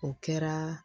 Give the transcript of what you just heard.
O kɛra